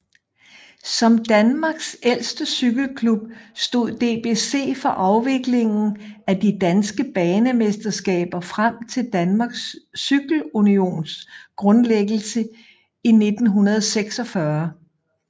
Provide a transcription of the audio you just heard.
Som Danmarks ældste cykleklub stod DBC for afviklingen af de danske banemesterskaber frem til Danmarks Cykle Unions grundlæggelse i 1946